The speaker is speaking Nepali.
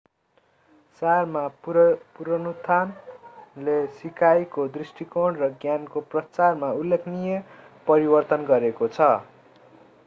सारमा पुनरुत्थानले सिकाइको दृष्टिकोण र ज्ञानको प्रचारमा उल्लेखनीय परिवर्तन गरेको छ